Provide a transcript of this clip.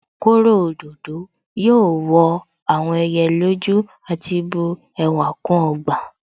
Kóro òdòdó yóò wọ àwọn ẹyẹ lójú àti bu ẹwà kún ọgbà